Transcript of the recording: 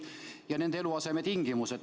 Tähelepanuta on nende eluasemetingimused.